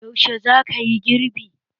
Yaushe za kayi girbi?